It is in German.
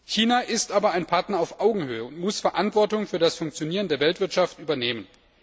China ist aber ein Partner auf Augenhöhe und muss Verantwortung für das Funktionieren der Weltwirtschaft übernehmen.